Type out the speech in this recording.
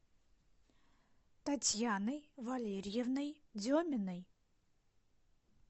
татьяной валерьевной деминой